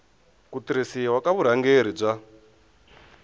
ku tirhisiwa ka vurhangeri bya